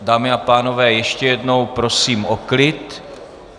Dámy a pánové, ještě jednou prosím o klid.